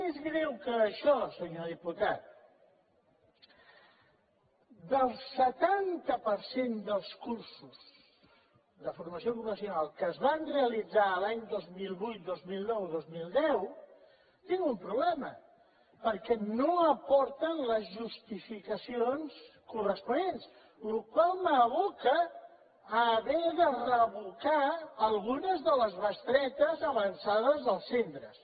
més greu que això senyor diputat del setanta per cent dels cursos de formació ocupacional que es van realitzar els anys dos mil vuit dos mil nou dos mil deu tinc un problema perquè no aporten les justificacions corresponents la qual cosa m’aboca a haver de revocar algunes de les bestretes avançades als centres